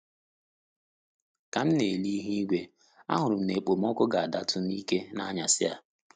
Ka m na ele ihu-igwe, a hụrụ m na-ekpomọkụ ga-adatu n'ike n'anyasị a.